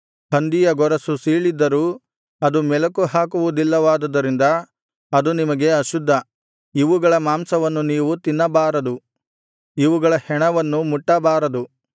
ಹಂದಿಯ ಗೊರಸು ಸೀಳಿದ್ದರೂ ಅದು ಮೆಲಕುಹಾಕುವುದಿಲ್ಲವಾದುದರಿಂದ ಅದು ನಿಮಗೆ ಅಶುದ್ಧ ಇವುಗಳ ಮಾಂಸವನ್ನು ನೀವು ತಿನ್ನಬಾರದು ಇವುಗಳ ಹೆಣವನ್ನು ಮುಟ್ಟಬಾರದು